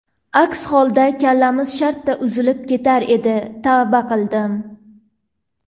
Aks holda kallamiz shartta uzilib ketar edi, tavba qildim.